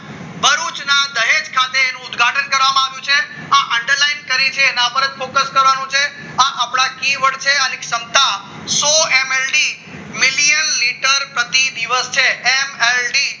તેનો ઉદ્ઘાટન કરવામાં આવ્યું છે underline કરી છે એના ઉપર જ ફોકસ કરવાનું છે આપણા કહેવત છે અને ક્ષમતા સો MLD million litter પ્રતિ દિવસ છે એ માહિતી